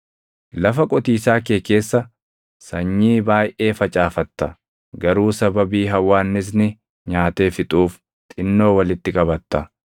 Lafa qotiisaa kee keessa sanyii baayʼee facaafatta; garuu sababii hawwaannisni nyaatee fixuuf xinnoo walitti qabatta.